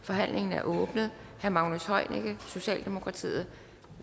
forhandlingen er åbnet herre magnus heunicke socialdemokratiet